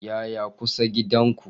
Yaya kusa gidan ku?